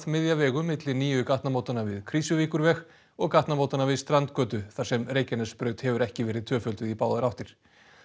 miðja vegu milli nýju gatnamótanna við Krýsuvíkurveg og gatnamótanna við strandgötu þar sem Reykjanesbraut hefur ekki verið tvöfölduð í báðar áttir